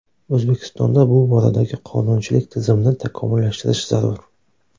O‘zbekistonda bu boradagi qonunchilik tizimini takomillashtirish zarur.